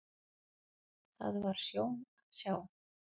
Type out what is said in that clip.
Það var sjón að sjá.